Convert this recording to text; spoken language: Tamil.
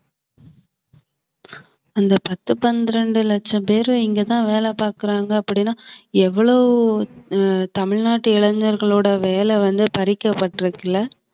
அந்த பத்து பன்னிரண்டு லட்சம் பேரு இங்கதான் வேலை பார்க்கிறாங்க அப்படின்னா எவ்வளவு ஆஹ் தமிழ்நாட்டு இளைஞர்களோட வேலை வந்து பறிக்கப்பட்டிருக்குல